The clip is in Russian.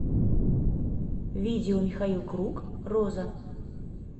видео михаил круг роза